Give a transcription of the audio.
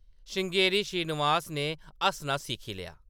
श्रृंगेरी श्रीनिवास ने हस्सना सिक्खी लेआ